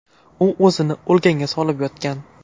U o‘zini o‘lganga solib yotgan.